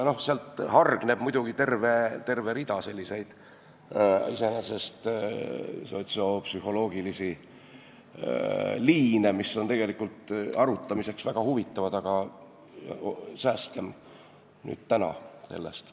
Sealt hargneb muidugi terve rida iseenesest sotsiopsühholoogilisi liine, mis on arutamiseks väga huvitavad, aga säästkem end täna sellest.